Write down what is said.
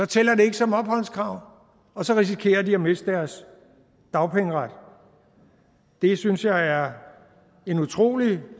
tæller det ikke som opholdskrav og så risikerer de at miste deres dagpengeret det synes jeg er en utrolig